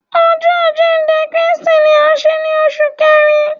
Ọjọ ajinde Kristi ni a nṣe ni oṣu Kẹrin